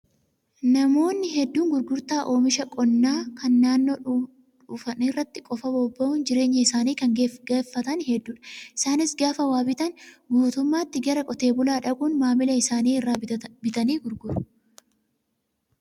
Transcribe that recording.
Namoonni hedduun gurgurtaa oomisha qonnaa kan naannoo dhufan irratti qofaa bobba'uun jireenya isaanii kan gaggeeffatan hedduudha. Isaanis gaafa waa bitan guutummaatti gara qote bulaa dhaquun maamila isaanii irraa bitanii gurguru.